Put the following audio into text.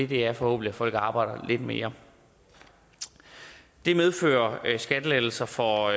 det er forhåbentlig at folk arbejder lidt mere det medfører skattelettelser for